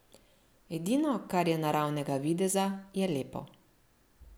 Edino, kar je naravnega videza, je lepo.